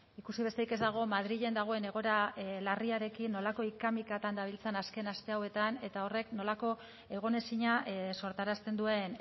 ikusi besterik ez dago madrilen dagoen egoera larriarekin nolako hika mikatan dabiltzan azken aste hauetan eta horrek nolako egonezina sortarazten duen